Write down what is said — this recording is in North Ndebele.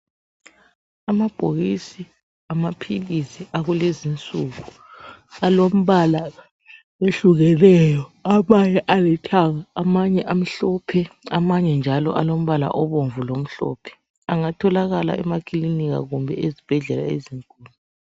Amabhokisi amaphilisi akulezinsuku alombala ehlukeneyo amanye alethanga amanye amhlophe amanye njalo alombala obomvu lomhlophe engatholakala emakilinika kumbe ezibhedlela ezinkulu.